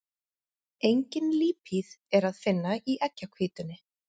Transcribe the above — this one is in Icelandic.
Engin lípíð er að finna í eggjahvítunni.